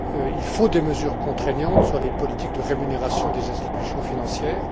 Il faut des mesures contraignantes sur les politiques de rémunération des institutions financières.